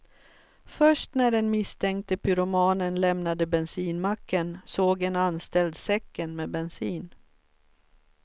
Först när den misstänkte pyromanen lämnade bensinmacken såg en anställd säcken med bensin.